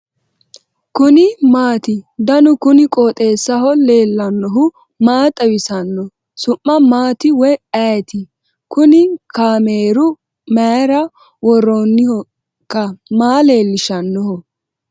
kuni maati ? danu kuni qooxeessaho leellannohu maa xawisanno su'mu maati woy ayeti ? kuni kaameru mayra worroonnihoikka maa leellishshannoho